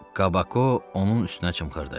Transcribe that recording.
Kabako onun üstünə çımxırırdı.